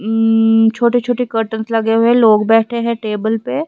ऊं छोटे छोटे कर्टन्स लगे हुए हैं लोग बैठे हैं टेबल पे।